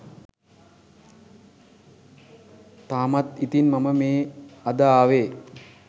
තාමත් ඉතින් මම මේ අද ආවෙ